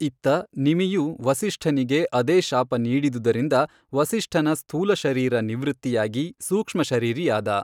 ಇತ್ತ ನಿಮಿಯೂ ವಸಿಷ್ಠನಿಗೆ ಅದೇ ಶಾಪ ನೀಡಿದುದರಿಂದ ವಸಿಷ್ಠನ ಸ್ಥೂಲಶರೀರ ನಿವೃತ್ತಿಯಾಗಿ ಸೂಕ್ಷ್ಮ ಶರೀರಿಯಾದ.